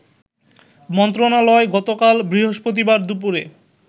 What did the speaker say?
মন্ত্রণালয় গতকাল বৃহস্পতিবার দুপুরে